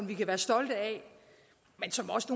vi kan være stolte af men som også